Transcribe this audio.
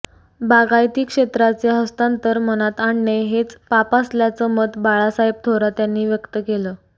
बागायती क्षेत्राचे हस्तांतर मनात आणणे हेच पाप असल्याचं मत बाळासाहेब थोरात यांनी व्यक्त केलं